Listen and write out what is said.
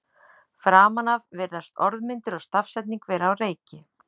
Framan af virðast orðmyndir og stafsetning vera á reiki.